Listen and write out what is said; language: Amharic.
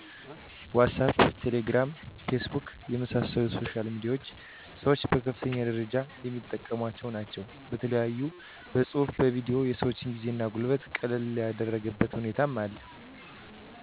ዋሳፕ :ቴሌግራም :ፌስቡክ የመሣሰሉት ሶሻል ሚዲያዎች ሠወች በከፍተኛ ደረጃ የሚጠቀሟቸው ናቸው በተለያዮ በፅሁፉ በቪዲዮ የሰወችን ጊዜ እና ጉልበት ቀለል ያደረገበት ሁኔታ አለ